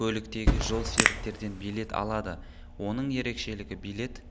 көліктегі жолсеріктерден билет алады оның ерекшелігі билет